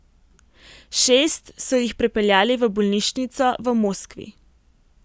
Šest so jih prepeljali v bolnišnico v Moskvi.